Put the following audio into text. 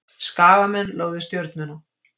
Skagamenn lögðu Stjörnuna